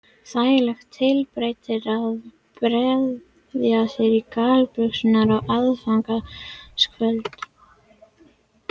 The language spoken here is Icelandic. Þægileg tilbreyting að bregða sér í gallabuxur á aðfangadagskvöld